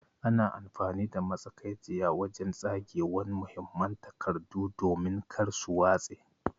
Ana amfani da matsakaiciya wajen tsagewan muhimman takardu domin kar su watse.